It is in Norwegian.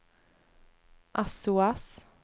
sos